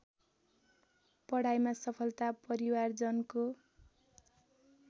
पढाइमा सफलता परिवारजनको